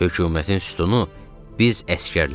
Hökumətin sütunu biz əsgərlərik.